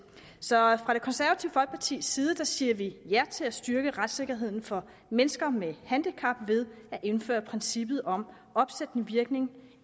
så fra det konservative folkepartis side siger vi ja til at styrke retssikkerheden for mennesker med handicap ved at indføre princippet om opsættende virkning